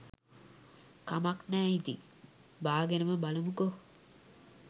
කමක් නෑ ඉතින් බාගෙනම බලමුකෝ